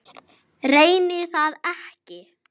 Reyni það ekki.